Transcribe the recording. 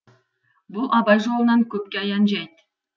бұл абай жолынан көпке аян жәйт